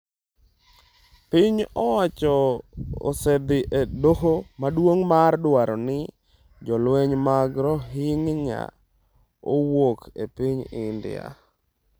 (piny owacho osedhi e Doho Maduong’ mar dwaro ni jolweny mag Rohingya owuok e piny India.)